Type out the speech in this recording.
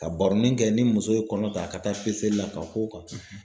Ka baronin kɛ ni muso ye kɔnɔ ta a ka taa peseli la ka k'o kan.